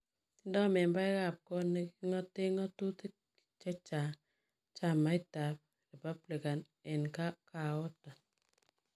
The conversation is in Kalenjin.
Tindoi membaek ak kot neki ng'aten ng'atutik chechang chamait ab Republican en Koaton .